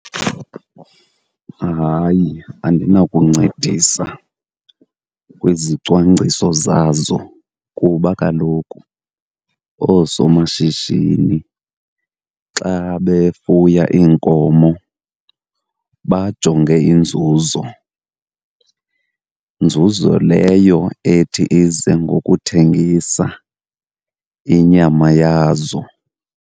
Hayi, andinakuncedisa kwizicwangciso zazo kuba kaloku oosomashishini xa befuya iinkomo bajonge inzuzo, nzuzo leyo ethi ize ngokuthengisa inyama yazo.